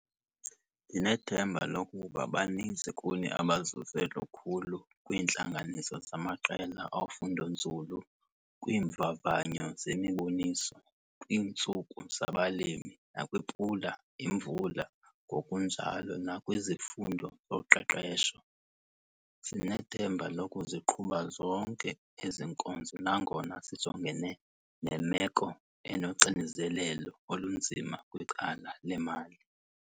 Ndinethemba lokuba baninzi kuni abazuze lukhulu kwiintlanganiso zamaqela ofundonzulu, kwiimvavanyo zemiboniso, kwiintsuku zabaLimi nakwiPula Imvula ngokunjalo nakwizifundo zoqeqesho. Sinethemba lokuziqhuba zonke ezi nkonzo nangona sijongene nemeko enoxinzelelo olunzima kwicala lemali.